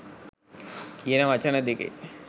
කියන වචන දෙකේ